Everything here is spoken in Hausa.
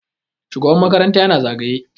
shugaban makaranta yana zagaye